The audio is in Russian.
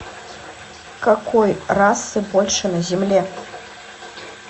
какой расы больше на земле